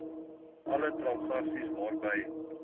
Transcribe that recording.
alle transaksies waarby